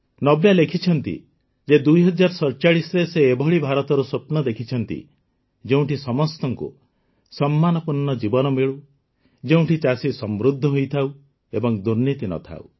ନବ୍ୟା ଲେଖିଛନ୍ତି ଯେ ୨୦୪୭ରେ ସେ ଏଭଳି ଭାରତର ସ୍ୱପ୍ନ ଦେଖିଛନ୍ତି ଯେଉଁଠି ସମସ୍ତଙ୍କୁ ସମ୍ମାନପୂର୍ଣ୍ଣ ଜୀବନ ମିଳୁ ଯେଉଁଠି ଚାଷୀ ସମୃଦ୍ଧ ହୋଇଥାଉ ଏବଂ ଦୁର୍ନୀତି ନ ଥାଉ